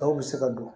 Dɔw bɛ se ka don